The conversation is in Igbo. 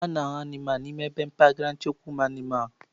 A na-ahụ anụmanụ n'ime ebe mpaghara nchekwa ụmụanụmanụ.